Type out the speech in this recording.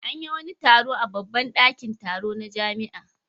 An yi wani taro a babban ɗakin taro na jami'a.